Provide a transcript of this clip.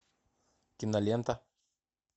кинолента